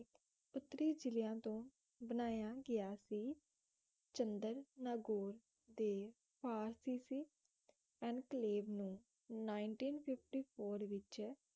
ਉੱਤਰੀ ਜਿਲਿਆਂ ਤੋਂ ਬਣਾਇਆ ਗਿਆ ਸੀ ਚੰਦਰ ਨਗੌਰ ਦੇ ਆਰ ਸੀ ਸੀ ਇਨਕਲੇਵ ਨੂੰ ninteen fifty four ਵਿਚ